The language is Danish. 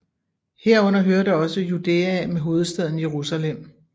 Herunder hørte også Judæa med hovedstaden Jerusalem